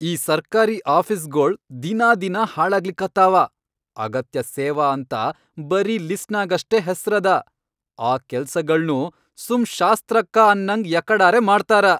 ಈ ಸರ್ಕಾರಿ ಆಫೀಸ್ಗೊಳ್ ದಿನಾದಿನಾ ಹಾಳಾಗ್ಲಿಕತ್ತಾವ, ಅಗತ್ಯ ಸೇವಾ ಅಂತ ಬರೀ ಲಿಸ್ಟ್ನ್ಯಾಗಷ್ಟೇ ಹೆಸ್ರದ, ಆ ಕೆಲ್ಸಾಗಳ್ನೂ ಸುಮ್ ಶಾಸ್ತ್ರಕ್ಕ ಅನ್ನಂಗ್ ಯಕಡರೆ ಮಾಡ್ತಾರ.